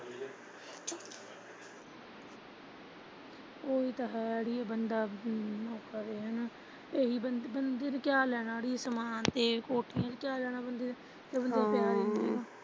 ਉਹੀਂ ਤਾਂ ਹੈ ਬੰਦਾ ਕਿਆ ਲੈਣਾ ਬੰਦੇ ਨੇ ਸਮਾਨ ਤੇ ਕੋਠੀਆ ਜਦ ਪਿਆਰ ਹੀ ਹੈਨੀ।